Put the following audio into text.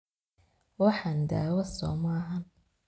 Waxan dawaa somaaxan .